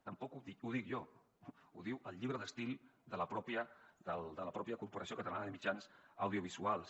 tampoc ho dic jo ho diu el llibre d’estil de la mateixa corporació catalana de mitjans audiovisuals